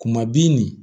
Kuma bi nin